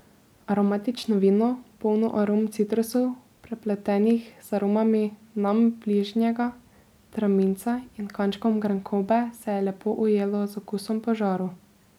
Aromatično vino, polno arom citrusov, prepletenih z aromami nam bližnjega traminca, in kančkom grenkobe se je lepo ujelo z okusom po žaru.